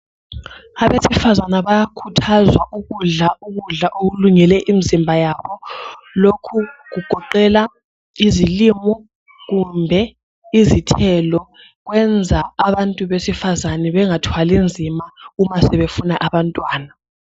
Abasifazana bayakhuthazwa ukudla ukudla okulungele imizimba yabo. Lokhu kugoqela izilimo kumbe izithelo, kwenza abasifazane bengathwali nzima uma sebefuna abantwana.